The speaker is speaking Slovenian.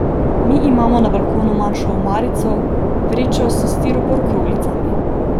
Mi imamo na balkonu manjšo omarico, vrečo s stiropor kroglicami.